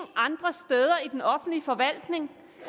andre steder i den offentlige forvaltning